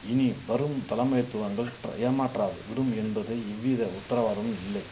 இனி வரும் தலமைதுவங்கள் ஏமாற்றாது விடும் என்பது இவ்வித உத்தரவாதம் இல்லை